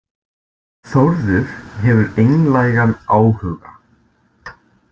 Þórður hefur einlægan áhuga.